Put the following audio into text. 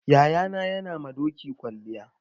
Yayana yana ma doki kwalliya.